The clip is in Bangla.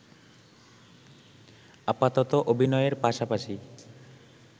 আপাতত অভিনয়ের পাশাপাশি